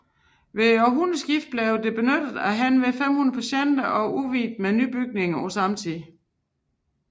Ved århundredeskiftet blev det benyttet af henved 500 patienter og udvidet ved nye bygninger på samme tid